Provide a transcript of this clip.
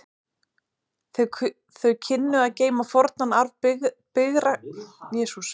Þau kynnu að geyma fornan arf byggræktarinnar bæði í handtökum og orðafari.